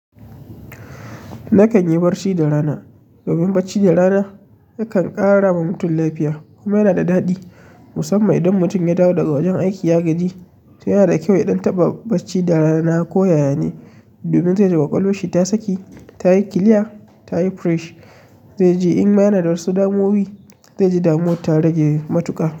Nakan yi barci da rana. Domin bacci da rana yakan ƙara wa mutum lafiya kuma yana da daɗi musamman idan mutum ya dawo daga wajen aiki ya gaji. To yana da kyau ya ɗan taɓa bacci da rana ko yaya ne. Domin zai ji kwakwalwarshi ta saki, ta yi kila, ta yi fresh. Zai ji in ma yana da wasu damuwa zai ji damuwar ta rage matuƙa.